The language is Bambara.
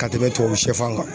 Ka tɛmɛ tubabu sɛfan kan